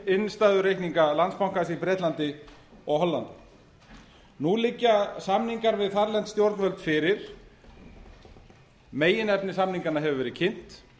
innstæðureikninga landsbankans í bretlandi og hollandi nú liggja samninga við þarlend stjórnvöld fyrir meginefni samninganna hefur verið kynnt